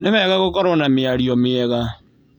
Nĩ wega gũkorwo na mĩario mĩega